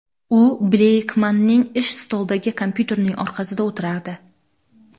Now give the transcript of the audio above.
U Bleykmanning ish stolidagi kompyuterning orqasida o‘tirardi.